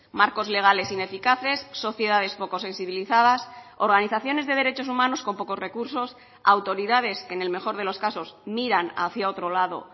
marcos legales ineficaces sociedades poco sensibilizadas organizaciones de derechos humanos con pocos recursos autoridades que en el mejor de los casos miran hacia otro lado